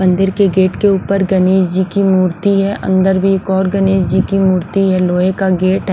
मंदिर के गेट के ऊपर गणेश जी की मूर्ति है अंदर भी एक और गणेश जी की मूर्ति है लोहे का गेट।